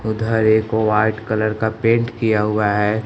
उधर एक white colour का पेंट किया हुआ है।